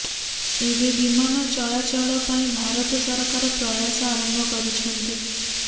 ଏବେ ବିମାନ ଚଳାଚଳ ପାଇଁ ଭାରତ ସରକାର ପ୍ରୟାସ ଆରମ୍ଭ କରିଛନ୍ତି